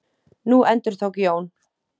Nú endurtók Jón.